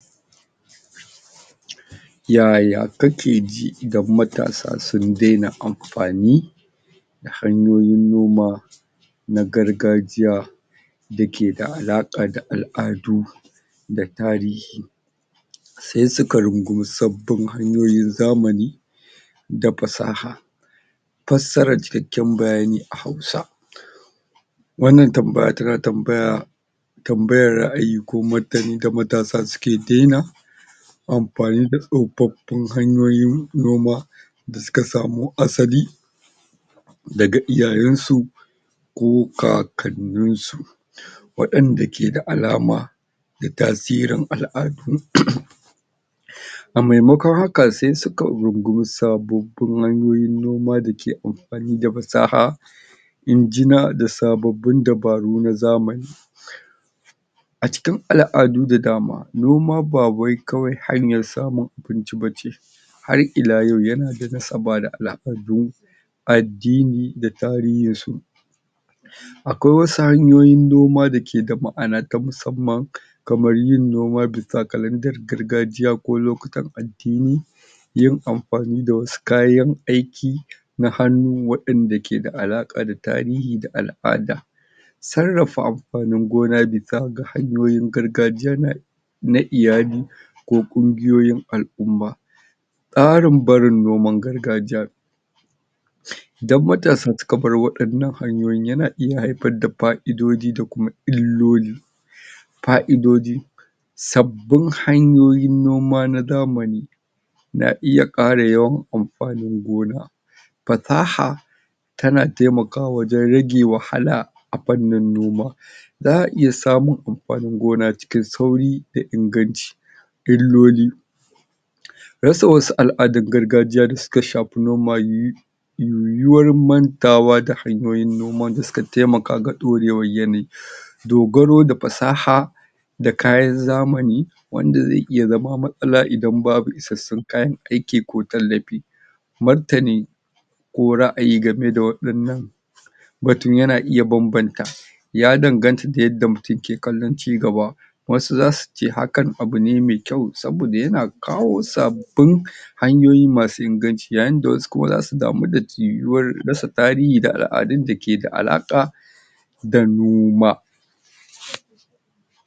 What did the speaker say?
Ya ya kake ji idan matasa sun dai na amfani da hanyoyin noma na gargajiya da ke da alaƙa da al'asdu da tarihi. Sai su aka rungumi sabbin hanyoyin zamani, da fasaha. Fasaarar cikakken bayani a Hausa. Wannan tamabay tana tambaya tambayar ra'ayi ko martanin da matasa su ke dia na amfani da tsufaffin hanyoyi na noma da suka sami asali daga iiyayensu ko kakanninsu. Waɗanda ke da alama da tasirin al'adu um a maimakon haka, sai suka rungumi sabon hanyoyin noma dake amfani da fasaha injina da sababbin dabaru na zamani. A cikin al'adu da dama, noma ba wai kawai hanyar samun abinci bace, har ila yau, yana da nasaba da al'adu addini da tarihinsu. Akwai wasu hanyoyin noma da ke da ma'ana ta musamman kamar yin noma bisa kalandar gargajiya ko lokutan addini, yin amfani da wasu kayan aiki, na hannu waɗanda ke da alaƙa da tarihi da al'ada. Sarrafa amfanin gona hanyoyin gargajiya na na iyali ko ƙungiyoyin al'umma. Tsarin barin noman gargajiya Idan matasa su ka bar waɗannan hanyoyin yana iya haifar da fa'idoji da kuma illoli fa'ido ji sabbin hanyoyin noma na zamani, na iya ƙara yawan amfanin gona. Fasaha, tana taimaka wajen rage wahala a fannin noma. Za a iya samun amfanin gona cikin sauri da inganci, illoli rasa wasu al'adar gargajiya da suka shafi noma yiwuwar mantawa da hanyoyin noman da suka taimaka ga ɗorewar yanayi. dogaro da fasaha, da kayan zamani wanda zai iya zama matsala idan babu isassun kayan aiki ko tallafi. Martani: ko ra'ayi game da waɗannan batun ya na iya banbanta ya danganta da yadda mutum ke kallon cigaba wasu zasu ce hakan abu ne mai kyau saboda yan akawo sabbin hanyoyi masu inganci, yayi da wasu kuma zasu damu da yiwuwar rasa tarihi da al'adun da ke da alaƙa da noma.